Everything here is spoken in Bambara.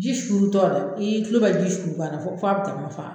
Ji suurutɔ a kan, i tulo bɛ ji suuru kan na fɔ bɛ